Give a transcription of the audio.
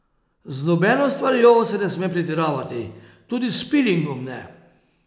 Z nobeno stvarjo se ne sme pretiravati, tudi s pilingom ne.